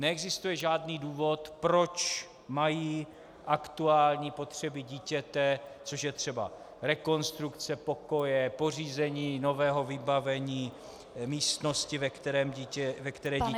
Neexistuje žádný důvod, proč mají aktuální potřeby dítěte, což je třeba rekonstrukce pokoje, pořízení nového vybavení místnosti, ve které dítě žije, a tak dál -.